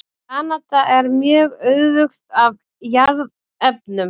Kanada er mjög auðugt af jarðefnum.